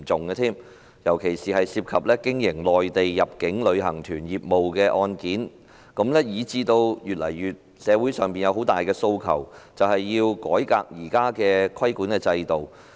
有些案件涉及經營內地入境旅行團業務，以致社會上有越來越大的訴求，要求改革現行的規管制度。